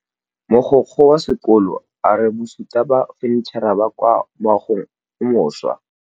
Mogokgo wa sekolo a re bosutô ba fanitšhara bo kwa moagong o mošwa.